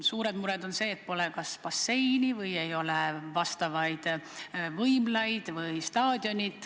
Suured mured on need, et pole kas basseini või võimlat või staadioni.